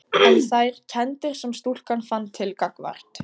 En þær kenndir sem stúlkan fann til gagnvart